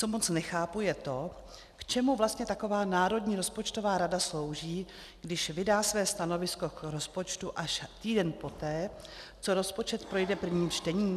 Co moc nechápu, je to, k čemu vlastně taková Národní rozpočtová rada slouží, když vydá své stanovisko k rozpočtu až týden poté, co rozpočet projde prvním čtením.